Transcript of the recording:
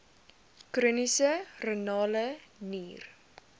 chroniese renale nier